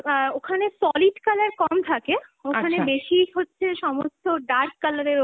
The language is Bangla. অ্যাঁ ওখানে solid colour কম থাকে, ওখানে বেশি হচ্ছে সমস্ত dark colour এর ওপর